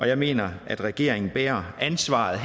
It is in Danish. jeg mener at regeringen bærer ansvaret